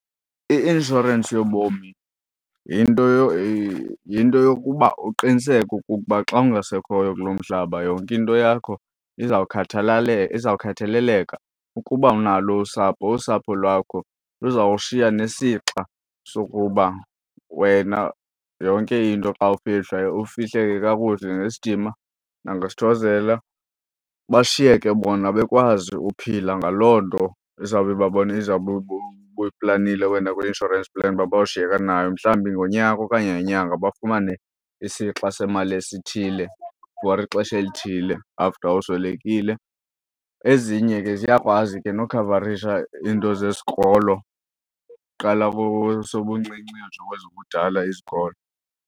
I-inshorensi yobomi yinto yokuba uqiniseke ukuba xa ungasekhoyo kulo mhlaba, yonke into yakho izawukhathaleleka. Ukuba unalo usapho usapho lwakho luzawushiya nesixa sokuba wena yonke into xa ufihlwa ufihleke kakuhle ngesidima nangesithozela, bashiyeke bona bekwazi uphila ngaloo nto izawube izawube ubuyiplanile wena kwi-insurance plan uba bawushiyeka nayo. Mhlawumbi ngonyaka okanye ngenyanga bafumane isixa semali esithile for ixesha elithile after uswelekile. Ezinye ke ziyakwazi ke nokhavarisha iinto zesikolo, qala kwesobuncinci uyotsho kwezobudala izikolo.